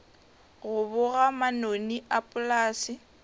go boga manoni a polase